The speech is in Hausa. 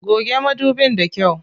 Goge madubin da kyau.